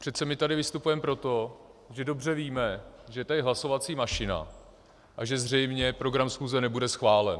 Přece my tady vystupujeme proto, že dobře víme, že je tady hlasovací mašina a že zřejmě program schůze nebude schválen.